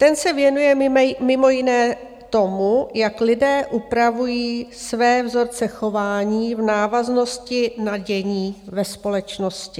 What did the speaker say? Ten se věnuje mimo jiné tomu, jak lidé upravují své vzorce chování v návaznosti na dění ve společnosti.